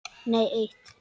Nei eitt.